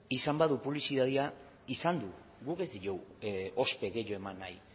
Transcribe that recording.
izan badu publizitatea izan du guk ez diogu ospe gehiago eman nahi